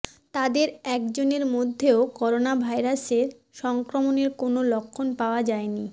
তাদের একজনের মধ্যেও করোনা ভাইরাসের সংক্রমণের কোনও লক্ষণ পাওয়া যায়নি